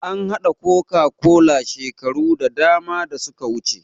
An haɗa coca-cola shekaru da dama da suka wuce